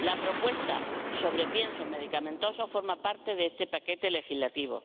La propuesta sobre piensos medicamentosos forma parte de este paquete legislativo.